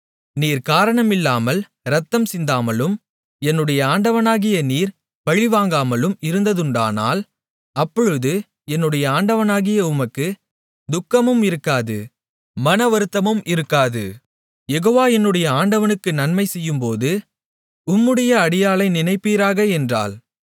நீர் காரணமில்லாமல் இரத்தம் சிந்தாமலும் என்னுடைய ஆண்டவனாகிய நீர் பழிவாங்காமலும் இருந்ததுண்டானால் அப்பொழுது என்னுடைய ஆண்டவனாகிய உமக்குத் துக்கமும் இருக்காது மனவருத்தமும் இருக்காது யெகோவா என்னுடைய ஆண்டவனுக்கு நன்மை செய்யும்போது உம்முடைய அடியாளை நினைப்பீராக என்றாள்